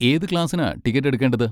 ഏത് ക്ലാസ്സിനാ ടിക്കറ്റ് എടുക്കേണ്ടത്?